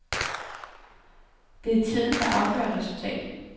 Det er tiden, der afgør resultatet.